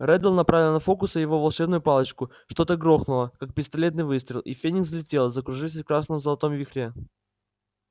реддл направил на фоукса его волшебную палочку что-то грохнуло как пистолетный выстрел и феникс взлетел закружившись в красно-золотом вихре